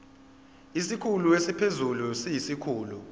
isikhulu esiphezulu siyisikhulu